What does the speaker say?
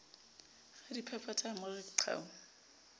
radiphaphatha a mo re qhau